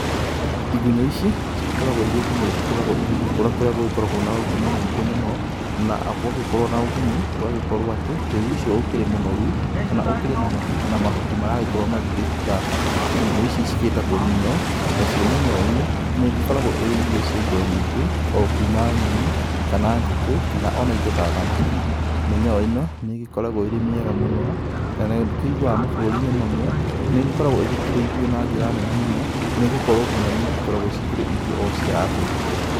Igũnyũ ici cikoragwo irĩ igunyũ igĩkũra igĩkũra gũkoragwo na ũgũnyu mwingĩ mũno ,na gũgakorwo atĩ tĩri ũcio ũkĩrĩ mũnoru na ũkĩrĩ na mahuti maragĩkorwo magĩkĩruta igunyũ ici ciĩtagwo mĩnyoo, nacio mĩnyoo ĩno ĩkoragwo irĩ irio nyingĩ okuma nyoni kana ngũkũ ina indo ta thamaki. Mĩnyoo ĩno nĩkoragwo ĩrĩ mĩega mũno na nĩtũiguaga mabũrũri mamwe nĩkoragwo ithikĩrĩirwe na njĩra nene mũno nĩgũkorwo tondũ ikoragwo nginya irio cia andũ.